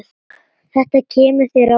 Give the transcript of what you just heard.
Þetta kemur þér á óvart.